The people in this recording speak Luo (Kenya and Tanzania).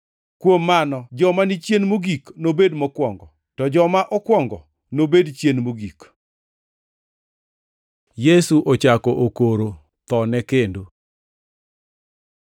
“Kuom mano joma ni chien mogik nobed mokwongo, to joma okwongo nobed chien mogik.” Yesu ochako okoro thone kendo